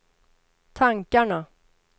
tankarna